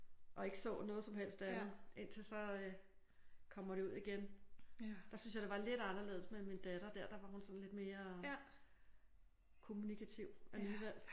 Og ikke så noget som helst andet indtil så øh kommer de ud igen. Der synes jeg det var lidt anderledes med min datter. Der der var hun sådan lidt mere kommunikativ alligevel